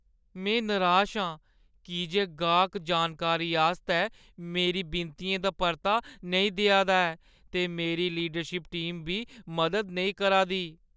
में निराश आं की जे गाह्‌क जानकारी आस्तै मेरे विनतियें दा परता नेईं देआ दा ऐ ते मेरी लीडरशिप टीम बी मदद नेईं करा दी ।